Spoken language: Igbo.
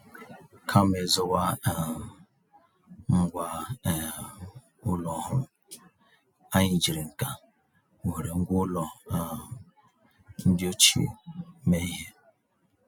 Kama ịzụwa um ngwá um ụlọ ọhụrụ, anyị jiri ǹkà wéré ngwá ụlọ um ndị ochie mee ihe.